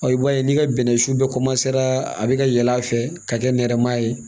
i b'a ye n'i ka bɛnɛsu bɛɛ a bɛ ka yɛlɛ a fɛ ka kɛ nɛrɛma ye